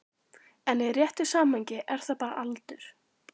En í réttu samhengi er það bara aldur.